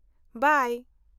-ᱵᱟᱭ !